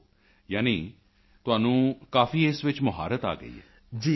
ਓਹ ਯਾਨੀ ਤੁਹਾਨੂੰ ਕਾਫੀ ਇਸ ਵਿੱਚ ਮੁਹਾਰਤ ਆ ਗਈ ਹੈ